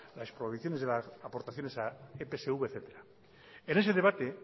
la prohibiciones de las aportaciones a epsv etcétera en ese debate